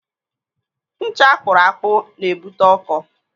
Ncha akpụrụ akpụ na-ebute ọkọ.